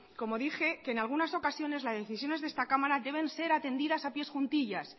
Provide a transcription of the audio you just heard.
como dije que en algunas ocasiones las decisiones de esta cámara deben ser atendidas a pies juntillas